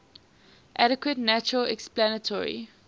adequate natural explanatory